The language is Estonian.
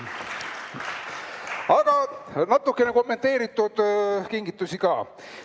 Aga natuke kommenteeritud kingitusi ka.